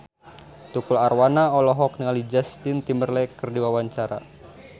Tukul Arwana olohok ningali Justin Timberlake keur diwawancara